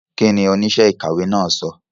Kí ni oníṣẹ́ ìkàwé náà sọ?